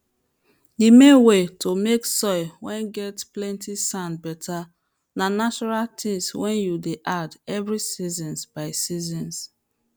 the main way to make soil whey get plenty sand better na natural things whey you dey add every seasons by seasons